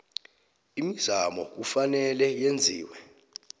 imizamo kufanele yenziwe